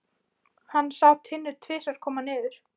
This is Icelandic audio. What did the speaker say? Hann sá Tinnu tvisvar koma niður.